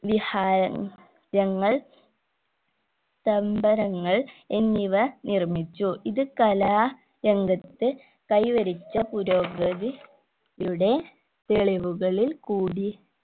ലിഹാ രങ്ങൾ തമ്പനങ്ങൾ എന്നിവ നിർമ്മിച്ചു ഇത് കലാ രംഗത്ത് കൈവരിച്ച പുരോഗതി യുടെ തെളിവുകളിൽ കൂടി